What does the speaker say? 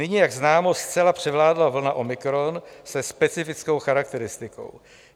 Nyní, jak známo, zcela převládla vlna omikron se specifickou charakteristikou.